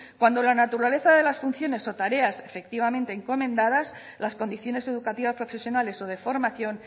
cuando la naturaleza de las funciones o tareas efectivamente encomendadas las condiciones educativas profesionales o de formación